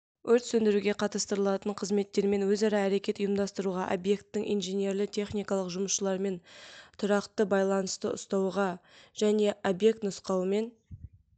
өрт сөндіруге қатыстырылатын қызметтермен өзара әрекет ұйымдастыруға объекттің инженерлі-техникалық жұмысшыларымен тұрақты байланысты ұстауға және объект нұсқауымен